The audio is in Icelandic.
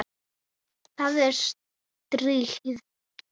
Það er stríð!